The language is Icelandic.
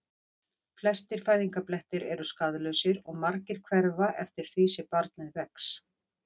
Flestir fæðingarblettir eru skaðlausir og margir hverfa eftir því sem barnið vex.